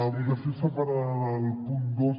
votació separada del punt dos